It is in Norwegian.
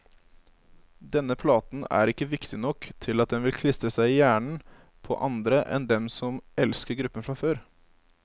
Denne platen er ikke viktig nok til at den vil klistre seg i hjernen på andre enn dem som elsker gruppen fra før.